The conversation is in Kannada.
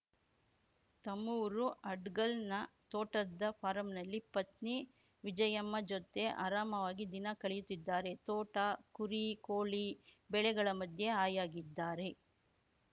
ತಮ್ಮೂರು ಅಡ್ಗಲ್‌ನ ತೋಟದ ಫಾರಂನಲ್ಲಿ ಪತ್ನಿ ವಿಜಯಮ್ಮ ಜೊತೆ ಆರಾಮಾವಾಗಿ ದಿನ ಕಳೆಯುತ್ತಿದ್ದಾರೆ ತೋಟ ಕುರಿ ಕೋಳಿ ಬೆಳೆಗಳ ಮಧ್ಯೆ ಹಾಯಾಗಿದ್ದಾರೆ